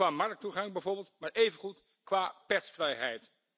Qua marktoegang bijvoorbeeld, maar evengoed qua persvrijheid.